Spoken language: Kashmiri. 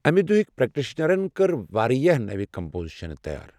اَمہِ دُہٕکۍ پریکٹیشنرَن کرِ واریٛاہ نوِ کمپوزیشنہٕ تیار۔